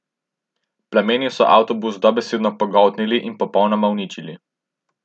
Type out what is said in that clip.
Plameni so avtobus dobesedno pogoltnili in popolnoma uničili.